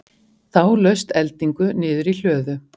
Þá laust eldingu niður í hlöðu.